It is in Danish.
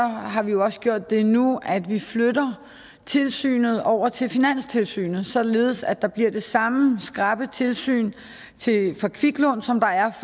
har vi jo også gjort det nu at vi flytter tilsynet over til finanstilsynet således at der bliver det samme skrappe tilsyn med kviklån som der er